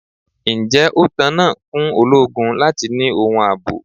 Ǹjẹ́ ó tán náà fún ológun láti ni ohun ààbò?